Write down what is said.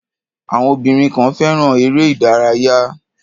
Àwọn obìnrin kan fẹ́ràn eré-ìárayá.